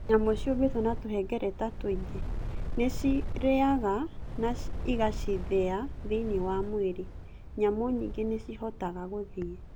Nyamũ ciumbĩtwo na tũhengereta tũingĩ. Nĩ ciarĩaga indo na igacithĩa thĩinĩ wa mwĩrĩ. Nyamũ nyingĩ nĩ ciĩhotaga gũthiĩ.